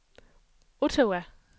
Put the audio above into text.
Ottawa